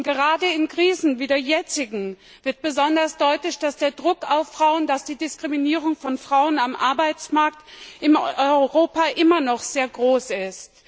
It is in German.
Gerade in Krisen wie der jetzigen wird besonders deutlich, dass der Druck auf Frauen, dass die Diskriminierung von Frauen am Arbeitsmarkt in Europa immer noch sehr groß ist.